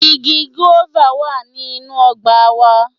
Igi "guava" wá ní inú ọgbà a wa